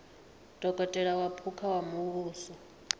dokotela wa phukha wa muvhuso